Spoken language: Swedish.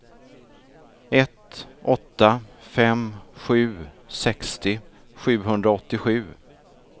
ett åtta fem sju sextio sjuhundraåttiosju